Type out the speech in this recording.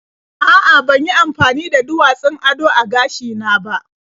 A'a, ban yi amafani da duwatsun ado a gashina ba.